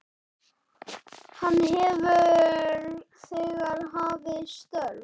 Hann hefur þegar hafið störf.